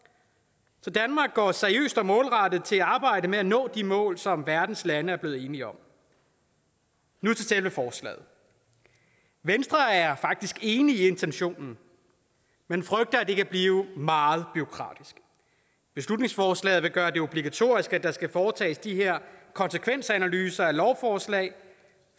så danmark går seriøst og målrettet til arbejdet med at nå de mål som verdens lande er blevet enige om nu til selve forslaget venstre er faktisk enig i intentionen men frygter at det kan blive meget bureaukratisk beslutningsforslaget vil gøre det obligatorisk at der skal foretages de her konsekvensanalyser af lovforslag